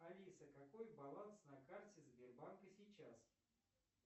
алиса какой баланс на карте сбербанка сейчас